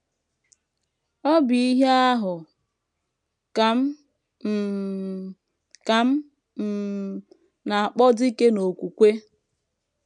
Ọ bụ ihe ahụ ka m um ka m um na - akpọ dike n’okwukwe! ’”